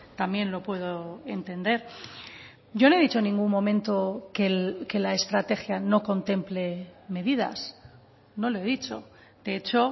también lo puedo entender yo no he dicho en ningún momento que la estrategia no contemple medidas no lo he dicho de hecho